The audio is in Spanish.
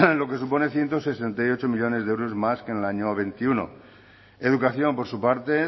lo que supone ciento sesenta y ocho millónes de euros más que en el año veintiuno educación por su parte